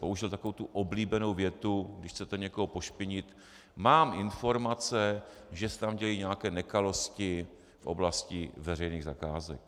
Použil takovou tu oblíbenou větu, když chcete někoho pošpinit - mám informace, že se tam dějí nějaké nekalosti v oblasti veřejných zakázek.